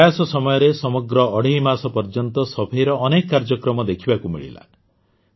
ଏହି ପ୍ରୟାସ ସମୟରେ ସମଗ୍ର ଅଢ଼େଇ ମାସ ପର୍ଯ୍ୟନ୍ତ ସଫେଇର ଅନେକ କାର୍ଯ୍ୟକ୍ରମ ଦେଖିବାକୁ ମିଳିଲା